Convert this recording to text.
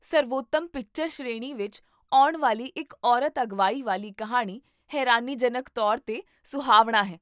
ਸਰਵੋਤਮ ਪਿਕਚਰ ਸ਼੍ਰੇਣੀ ਵਿੱਚ ਆਉਣ ਵਾਲੀ ਇੱਕ ਔਰਤ ਅਗਵਾਈ ਵਾਲੀ ਕਹਾਣੀ ਹੈਰਾਨੀਜਨਕ ਤੌਰ 'ਤੇ ਸੁਹਾਵਣਾ ਹੈ